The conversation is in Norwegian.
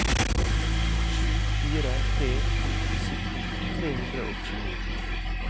sju fire tre to sytten tre hundre og tjueni